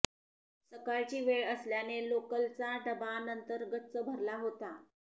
सकाळची वेळ असल्याने लोकलचा डबा नंतर गच्च भरला होता